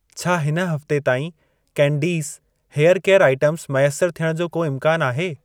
छा हिन हफ़्ते ताईं कैंडीज़, हेयर केयर आईटमस मैसर थियण जो को इम्कान आहे?